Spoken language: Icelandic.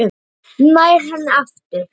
Nær henni aftur.